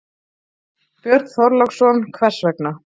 Björn Þorláksson: Hvers vegna?